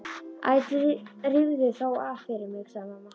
Æ rífðu þá af fyrir mig sagði amma.